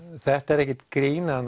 þetta er ekkert grín það